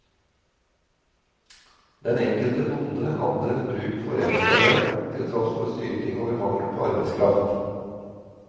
Den enkelte bonde hadde bruk for ekstrahjelp, til tross for syting over mangel på arbeidsraft.